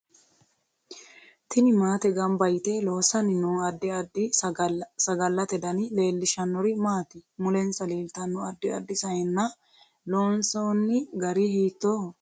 Tini maate ganba yite loosani noo addi addi sagallate dani leelishanori maati mulensa leltanno addi addi sayiinna loonsooni gari hiitooho